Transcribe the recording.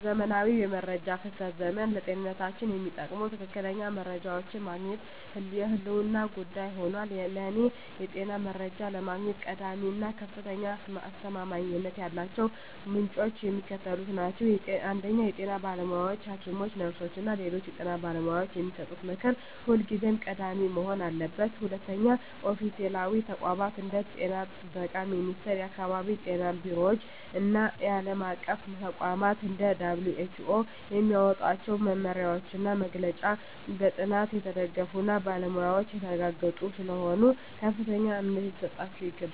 በዘመናዊው የመረጃ ፍሰት ዘመን፣ ለጤንነታችን የሚጠቅሙ ትክክለኛ መረጃዎችን ማግኘት የህልውና ጉዳይ ሆኗል። ለእኔ የጤና መረጃ ለማግኘት ቀዳሚ እና ከፍተኛ አስተማማኝነት ያላቸው ምንጮች የሚከተሉት ናቸው 1) የጤና ባለሙያዎች: ሐኪሞች፣ ነርሶች እና ሌሎች የጤና ባለሙያዎች የሚሰጡት ምክር ሁልጊዜም ቀዳሚ መሆን አለበት። 2)ኦፊሴላዊ ተቋማት: እንደ የጤና ጥበቃ ሚኒስቴር፣ የአካባቢ ጤና ቢሮዎች እና ዓለም አቀፍ ተቋማት (እንደ WHO) የሚያወጧቸው መመሪያዎችና መግለጫዎች በጥናት የተደገፉና በባለሙያዎች የተረጋገጡ ስለሆኑ ከፍተኛ እምነት ሊጣልባቸው ይገባል።